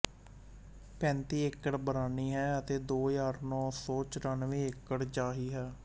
ਪੈਂਤੀ ਏਕੜ ਬਰਾਨੀ ਹੈ ਅਤੇ ਦੋ ਹਜ਼ਾਰ ਨੌਂ ਸੌ ਚੁਰੰਨਵੇਂਂ ਏਕੜ ਚਾਹੀ ਹੈ